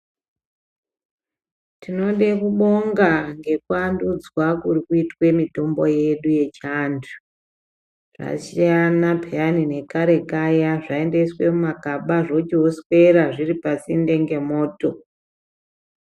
Tinode kubonga ngekuwandudzwa kuri kuitwe mitombo yedu yechiyantu, zvasiyana peyani ngekare kaya zvaindoiswa mumagaba zvochoswera zviri pasinde ngemoto.